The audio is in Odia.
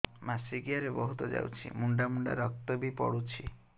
ମାସିକିଆ ରେ ବହୁତ ଯାଉଛି ମୁଣ୍ଡା ମୁଣ୍ଡା ରକ୍ତ ବି ପଡୁଛି